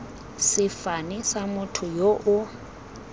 sefane sa motho yo o